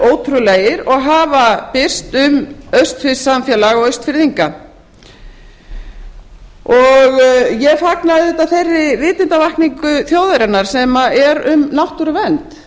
ótrúlegir og hafa birst um austfirskt samfélag og austfirðinga ég fagna auðvitað þeirri vitundarvakningu þjóðarinnar sem er um náttúruvernd